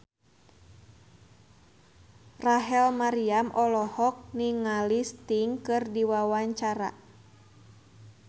Rachel Maryam olohok ningali Sting keur diwawancara